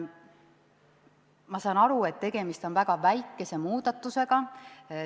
Ma saan aru, et tegemist on väga väikese muudatusega.